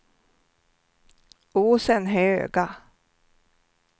Åsenhöga